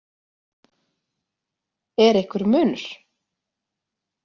Er einhver munur?